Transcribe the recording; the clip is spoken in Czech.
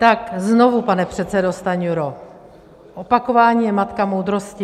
Tak znovu, pane předsedo Stanjuro, opakování je matka moudrosti.